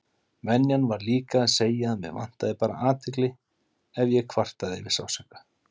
Venjan var líka að segja að mig vantaði bara athygli ef ég kvartaði yfir sársauka.